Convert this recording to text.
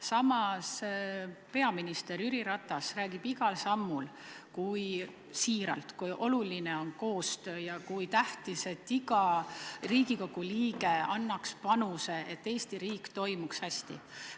Samas, peaminister Jüri Ratas räägib igal sammul siiralt, kui oluline on koostöö ja kui tähtis on, et iga Riigikogu liige annaks panuse, et Eesti riik toimiks hästi.